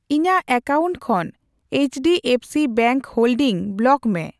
ᱤᱧᱟᱜ ᱮᱠᱟᱣᱩᱱᱴ ᱠᱷᱚᱱ H D F C bank holding block ᱢᱮ ᱾